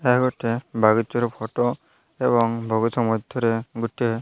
ଏହା ଗୋଟିଏ ବଗିଚାର ଫଟୋ ଏବଂ ବଗିଚା ମଧ୍ୟରେ ଗୋଟିଏ --